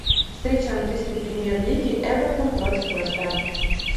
встреча английской премьер лиги эвертон против лестера